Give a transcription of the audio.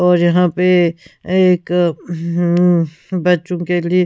और यहां पे एक हम्म हम्म बच्चों के लिए--